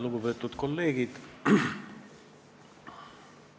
Lugupeetud kolleegid!